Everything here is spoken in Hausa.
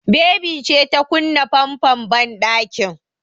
Baby ce ta kunna famfon banɗakin.